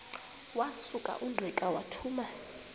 wasuka ungqika wathuma